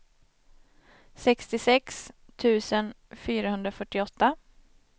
sextiosex tusen fyrahundrafyrtioåtta